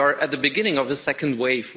We are at the beginning of the second wave.